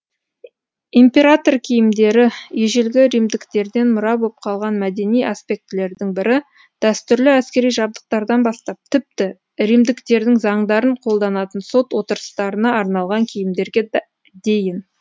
император киімдері ежелгі римдіктерден мұра боп қалған мәдени аспектілердің бірі дәстүрлі әскери жабдықтардан бастап тіпті римдіктердің заңдарын қолданатын сот отырыстарына арналған киімдерге дейін